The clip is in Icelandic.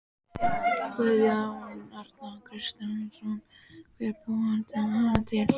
Guðjón Arnar Kristjánsson: Hver bjó hana til?